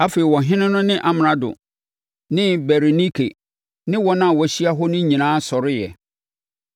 Afei, ɔhene no ne Amrado ne Berenike ne wɔn a wɔahyia hɔ no nyinaa sɔreeɛ.